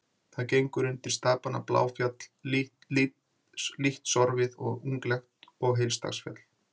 Hún gengur undir stapana Bláfjall, lítt sorfið og unglegt, og Heilagsdalsfjall.